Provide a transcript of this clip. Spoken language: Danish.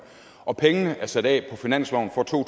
og pengene er sat af på finansloven for to